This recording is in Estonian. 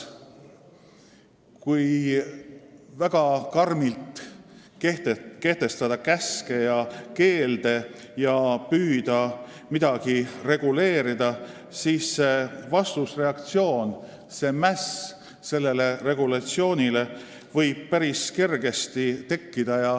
Kui väga karmilt kehtestada käske ja keelde ja püüda midagi reguleerida, siis võib vastusreaktsioon, mäss selle regulatsiooni vastu päris kergesti tekkida.